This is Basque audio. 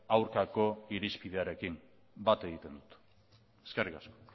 aurkako irizpidearekin bat egiten dut eskerrik asko